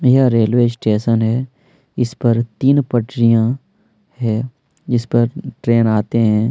यह railway station है इस पर तीन पटरिया है जिस पर ट्रेन आते हैं।